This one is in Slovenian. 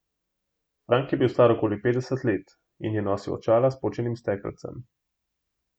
Frank je bil star okoli petdeset let in je nosil očala s počenim stekelcem.